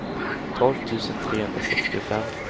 tolv tusen trehundrasextiofem